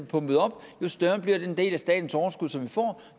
pumpet op jo større bliver den del som staten får